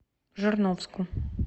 жирновску